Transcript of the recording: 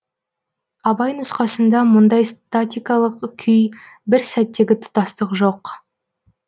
абай нұсқасында мұндай статикалық күй бір сәттегі тұтастық жоқ